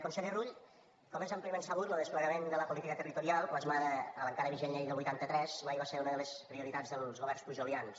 conseller rull com és àmpliament sabut lo desplegament de la política territorial plasmada a l’encara vigent llei del vuitanta tres mai va ser una de les prioritats dels governs pujolians